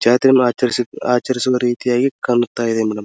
ಜಾತ್ರೆಯನ್ನುಆಚರಿಸಿ ಆಚರಿಸುವ ರೀತಿಯಾಗಿ ಕಾಣುತ್ತಾ ಇದೆ ಮೇಡಂ .